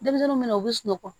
Denmisɛnninw bɛ na u bɛ sunɔgɔ